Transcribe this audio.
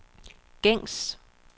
gængs